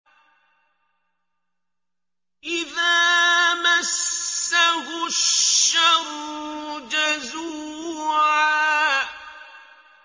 إِذَا مَسَّهُ الشَّرُّ جَزُوعًا